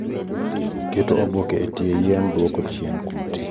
keto oboke e tie yien duoko chien kute